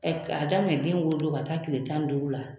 Ɛɛ ka daminɛ den wolo don ka taa kile tan ni duuru la.